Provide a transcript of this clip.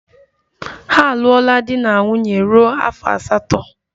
Ha alụọla di na nwunye ruo afọ asatọ.